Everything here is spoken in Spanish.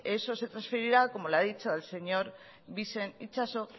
eso se transferirá como le ha dicho el señor bixen itxaso